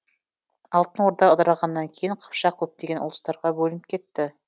алтын орда ыдырағаннан кейін қыпшақ көптеген ұлыстарға бөлініп кетті